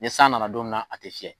Ni san nana don min na a te fiyɛ.